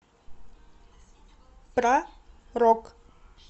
про рок